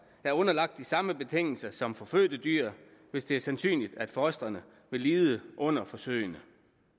er underlagt de samme betingelser som for fødte dyr hvis det er sandsynligt at fostrene vil lide under forsøgene